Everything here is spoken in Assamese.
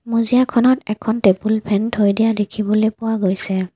মজিয়াখনত এখন টেবুল ফেন থৈ দিয়া দেখিবলৈ পোৱা গৈছে।